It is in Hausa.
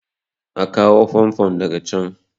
a kawo famfon daga can!